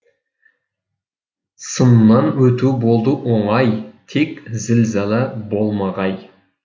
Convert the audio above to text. сыннан өту болды оңай тек зілзала болмағай